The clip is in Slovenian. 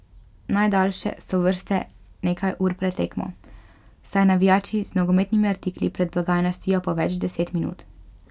Najdaljše so vrste nekaj ur pred tekmo, saj navijači z nogometnimi artikli pred blagajno stojijo po več deset minut.